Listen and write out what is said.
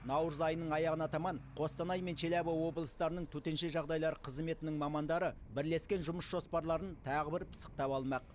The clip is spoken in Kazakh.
наурыз айының аяғына таман қостанай мен челябі облыстарының төтенше жағдайлар қызметінің мамандары бірлескен жұмыс жоспарларын тағы бір пысықтап алмақ